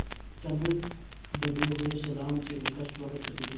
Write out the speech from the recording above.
तब दबे हुए सलाम से उसका स्वागत करते थे